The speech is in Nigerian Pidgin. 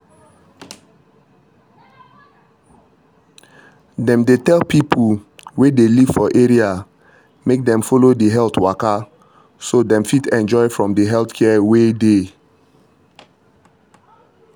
dem dey tell people way dey live for area make dem follow the health waka so dem fit enjoy from the health care way dey.